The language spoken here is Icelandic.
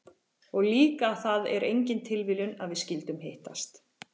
Og líka að það er engin tilviljun að við skyldum hittast?